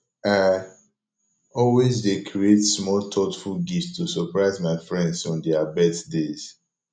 i always dey create small thoughtful gifts to surprise my friends on their birthdays